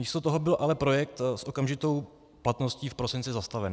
Místo toho byl ale projekt s okamžitou platností v prosinci zastaven.